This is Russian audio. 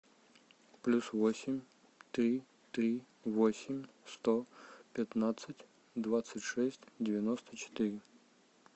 плюс восемь три три восемь сто пятнадцать двадцать шесть девяносто четыре